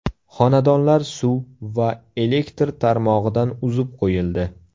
Xonadonlar suv va elektr tarmog‘idan uzib qo‘yildi.